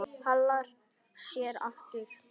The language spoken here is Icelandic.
Hallar sér aftur.